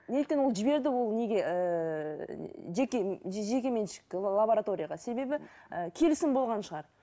неліктен ол жіберді ол неге ііі жеке жеке меншік лабораторияға себебі і келісім болған шығар